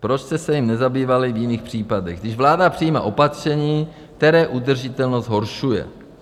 Proč jste se jím nezabývali v jiných případech, když vláda přijímá opatření, které udržitelnost zhoršuje?